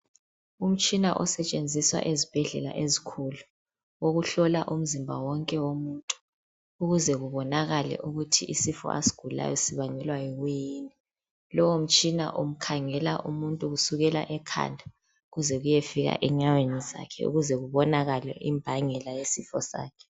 Umtshina osetshenziswa ezibhedlela ezikhulu okuhlola umzimba wonke womuntu ukuze kubonakale ukuthi lesi sifo asigulayo sibangelwa yini lowomtshina umkhangela umuntu kusukela ekhanda kuze kuye fika enyaweni ukuze kubonakale imbangela yesifo sakhe